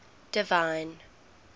divine